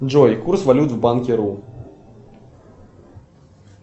джой курс валют в банки ру